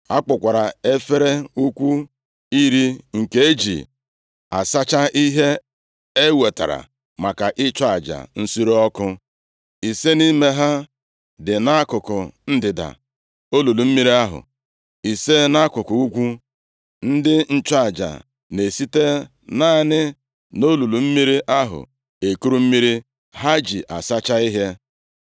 A kpụkwara efere ukwu iri nke e ji asacha ihe e wetara maka ịchụ aja nsure ọkụ. Ise nʼime ha dị nʼakụkụ ndịda olulu mmiri ahụ, ise nʼakụkụ ugwu. Ndị nchụaja na-esite naanị na olulu mmiri ahụ ekuru mmiri ha ji asacha ihe.